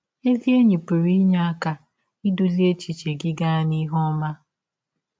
Ezi enyi pụrụ inye aka idụzị echiche gị gaa n’ihe ọma.